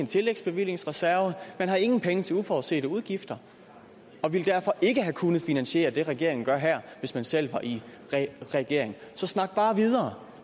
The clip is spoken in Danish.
tillægsbevillingsreserve man har ingen penge til uforudsete udgifter og ville derfor ikke have kunnet finansiere det som regeringen gør her hvis man selv var i regering så snak bare videre